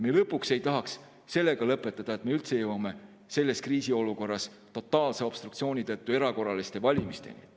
Lõpuks: ei tahaks sellega lõpetada, et me jõuame selles kriisiolukorras totaalse obstruktsiooni tõttu erakorraliste valimisteni.